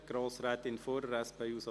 Grossrätin Fuhrer, SP-JUSO-PSA.